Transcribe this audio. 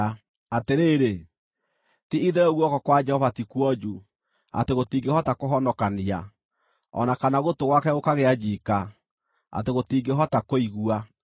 Atĩrĩrĩ, ti-itherũ guoko kwa Jehova ti kuonju atĩ gũtingĩhota kũhonokania, o na kana gũtũ gwake gũkagĩa njiika atĩ gũtingĩhota kũigua.